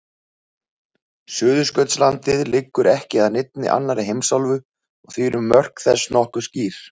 Suðurskautslandið liggur ekki að neinni annarri heimsálfu og því eru mörk þess nokkuð skýr.